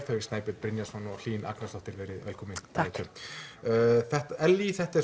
þau Snæbjörn Brynjarsson og Hlín Agnarsdóttir verið velkomin takk Ellý þetta er